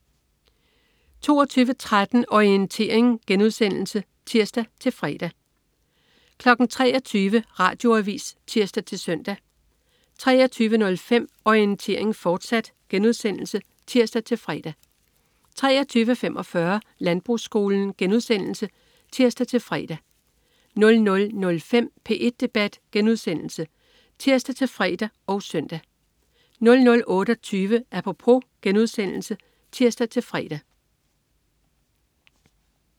22.13 Orientering* (tirs-fre) 23.00 Radioavis (tirs-søn) 23.05 Orientering, fortsat* (tirs-fre) 23.45 Landbrugsskolen* (tirs-fre) 00.05 P1 Debat* (tirs-fre og søn) 00.28 Apropos* (tirs-fre)